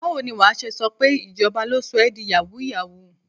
Báwo ni wà á ṣe sọ pé ìjọba ló sọ ẹ di yàwúù-yàwúù?